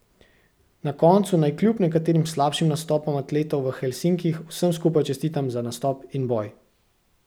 Na koncu naj kljub nekaterim slabšim nastopom atletov v Helsinkih vsem skupaj čestitam za nastop in boj!